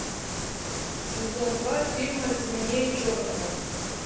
сезон два фильма темнее черного